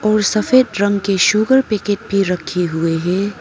और सफ़ेद रंग के शुगर पैकेट भी रखे हुए है।